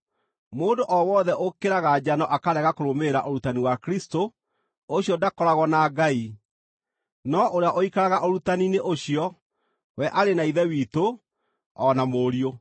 Mũndũ o wothe ũkĩraga njano akarega kũrũmĩrĩra ũrutani wa Kristũ, ũcio ndakoragwo na Ngai; no ũrĩa ũikaraga ũrutani-inĩ ũcio, we arĩ na Ithe witũ o na Mũriũ.